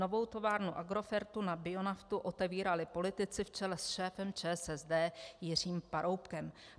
Novou továrnu Agrofertu na bionaftu otevírali politici v čele s šéfem ČSSD Jiřím Paroubkem.